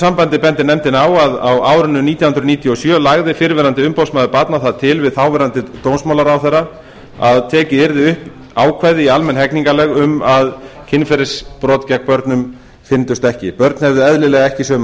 sambandi bendir nefndin á að á árinu nítján hundruð níutíu og sjö lagði fyrrverandi umboðsmaður barna það til við þáverandi dómsmálaráðherra að tekið yrði upp ákvæði í almenn hegningarlög um að kynferðisbrot gegn börnum fyrndust ekki börn hefðu eðlilega ekki sömu